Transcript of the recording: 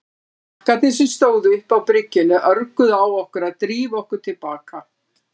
Krakkarnir sem stóðu uppi á bryggjunni örguðu á okkur að drífa okkur til baka.